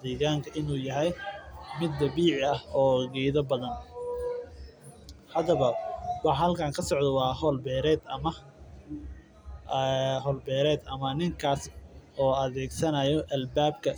deeganka uu yahay mid dabiici ah waa howl beered ninka oo adeegsanya albaabka.